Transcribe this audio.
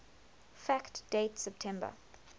fact date september